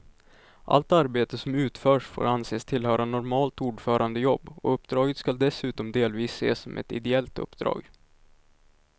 Allt arbete som utförts får anses tillhöra normalt ordförandejobb och uppdraget skall dessutom delvis ses som ett ideellt uppdrag.